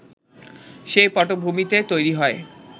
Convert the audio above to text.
সেই পটভূমিতে তৈরি হয়